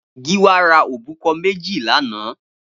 Giwa rà óbúkọ̀ mèjí lànã